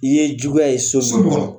I ye juguya ye so so ko mun kɔnɔ?